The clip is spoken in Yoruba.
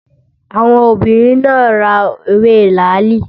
Àwọn obìnrin náà ra ewé làálì